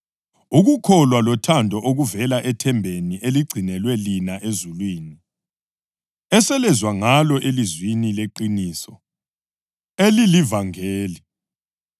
Ukukholwa lothando okuvela ethembeni eligcinelwe lina ezulwini, eselezwa ngalo elizwini leqiniso, elilivangeli